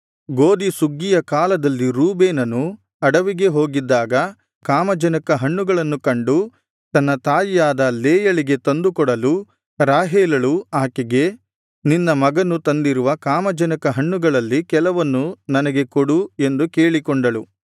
ಗೋದಿ ಸುಗ್ಗಿಯ ಕಾಲದಲ್ಲಿ ರೂಬೇನನು ಅಡವಿಗೆ ಹೋಗಿದ್ದಾಗ ಕಾಮಜನಕ ಹಣ್ಣುಗಳನ್ನು ಕಂಡು ತನ್ನ ತಾಯಿಯಾದ ಲೇಯಳಿಗೆ ತಂದು ಕೊಡಲು ರಾಹೇಲಳು ಆಕೆಗೆ ನಿನ್ನ ಮಗನು ತಂದಿರುವ ಕಾಮಜನಕ ಹಣ್ಣುಗಳಲ್ಲಿ ಕೆಲವನ್ನು ನನಗೆ ಕೊಡು ಎಂದು ಕೇಳಿಕೊಂಡಳು